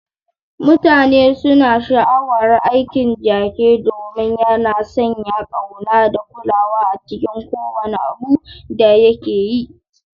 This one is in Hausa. Mutane suna sha'awar aikin Jake domin yana sanya ƙauna da kulawa a cikin kowane abu da yake yi.